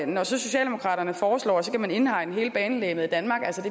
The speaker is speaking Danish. når så socialdemokraterne foreslår at man kan indhegne hele banelegemet i danmark